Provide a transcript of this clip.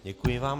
Děkuji vám.